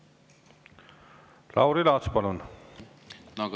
Lauri Laats, palun!